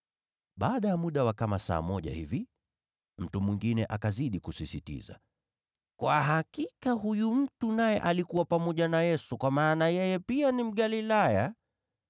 Baada ya muda wa kama saa moja hivi, mtu mwingine akazidi kusisitiza, “Kwa hakika huyu mtu naye alikuwa pamoja na Yesu, kwa maana yeye pia ni Mgalilaya.”